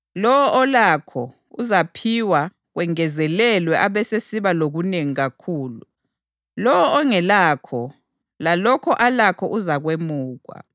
Lowo olakho, uzaphiwa kwengezelelwe abesesiba lokunengi kakhulu. Lowo ongelakho, lalokho alakho uzakwemukwa.